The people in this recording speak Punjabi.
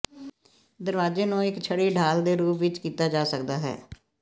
ਦਰਵਾਜ਼ੇ ਨੂੰ ਇੱਕ ਛੜੀ ਢਾਲ ਦੇ ਰੂਪ ਵਿਚ ਕੀਤਾ ਜਾ ਸਕਦਾ ਹੈ